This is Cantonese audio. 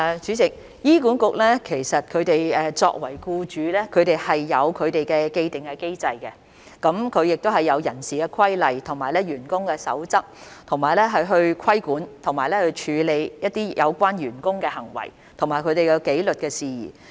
主席，醫管局作為僱主，已經設有既定的機制，亦有人事規例和員工守則，以規管和處理有關員工的行為和紀律事宜。